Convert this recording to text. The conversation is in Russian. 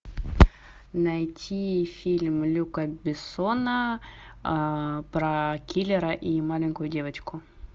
найти фильм люка бессона про киллера и маленькую девочку